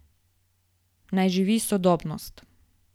Naj živi sodobnost!